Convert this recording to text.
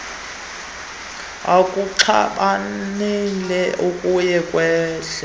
ekuxhalabeni okuye kwehle